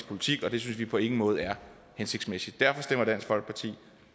politik og det synes vi på ingen måde er hensigtsmæssigt derfor stemmer dansk folkeparti